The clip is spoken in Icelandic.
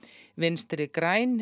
vinstri græn